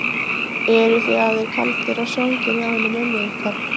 Eruð þið hafðir kaldir og svangir hjá henni mömmu ykkar?